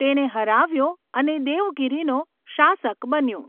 તેને હરાવ્યો અને દેવગિરિનો શાસક બન્યો.